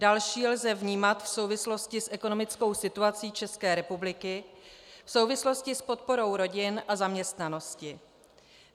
Další lze vnímat v souvislosti s ekonomickou situací České republiky, v souvislosti s podporou rodin a zaměstnanosti.